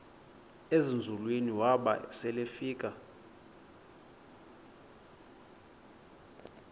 ezinzulwini waba selefika